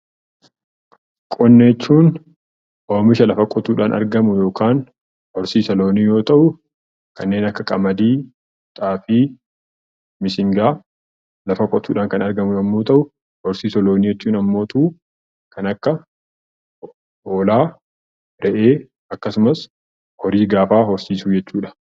Qonna jechuun oomisha lafa qotuudhaan argamu yookaan horsiisa loonii yoo ta'u, kanneen akka qamadii, xaafii, mishingaa lafa qutuudhaan kan argamu yemmuu ta'u, horsiisa loonii jechuun immoo kan akka hoolaa, re'ee, akkasumas horii gaafaa horsiisuu jechuudha.